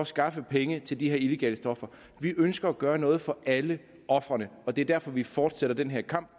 skaffes penge til de her illegale stoffer vi ønsker at gøre noget for alle ofrene og det er derfor vi fortsætter den her kamp